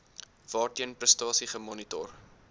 waarteen prestasie gemonitor